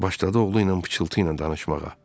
Başladı oğlu ilə pıçıltı ilə danışmağa.